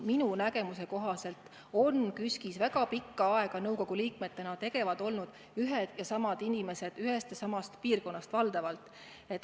Minu nägemuse kohaselt on KÜSK-is väga pikka aega nõukogu liikmetena tegevad olnud ühed ja samad inimesed ühest ja samast piirkonnast, valdavalt.